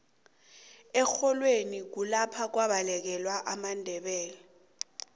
erholweni kulapha kwabalekela amandebele